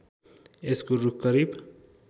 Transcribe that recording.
यसको रूख करिब